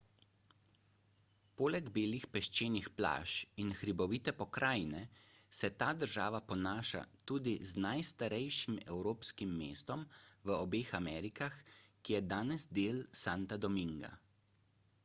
poleg belih peščenih plaž in hribovite pokrajine se ta država ponaša tudi z najstarejšim evropskim mestom v obeh amerikah ki je danes del santa dominga